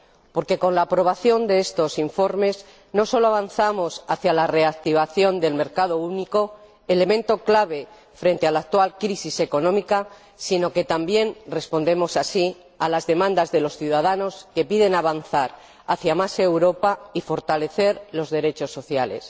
Porque, con la aprobación de estos informes, no sólo avanzamos hacia la reactivación del mercado único, elemento clave frente a la actual crisis económica sino que también respondemos a las demandas de los ciudadanos, que piden avanzar hacia más Europa y fortalecer los derechos sociales.